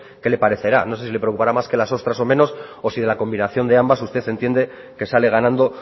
qué le parecerá no sé si le preocupará más que las ostras o menos o si de la combinación de ambas usted entiende que sale ganando